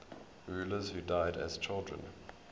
rulers who died as children